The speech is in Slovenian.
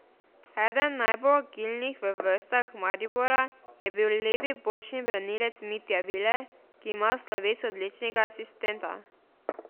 Eden najbolj agilnih v vrstah Maribora je bil levi bočni branilec Mitja Viler, ki ima sloves odličnega asistenta.